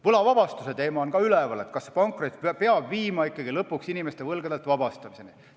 Võlavabastuse teema on ka üleval, et kas pankrot peab viima ikkagi lõpuks inimese võlgadest vabastamiseni.